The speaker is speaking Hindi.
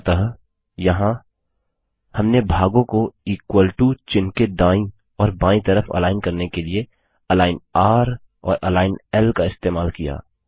अतः यहाँ हमने भागों को इक्वल टो चिह्न के दायीं और बायीं तरफ अलाइन करने के लिए अलिग्न र और अलिग्न ल का इस्तेमाल किया